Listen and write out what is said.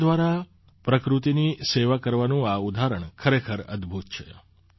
કળા દ્વારા પ્રકૃત્તિની સેવા કરવાનું આ ઉદાહરણ ખરેખર અદભૂત છે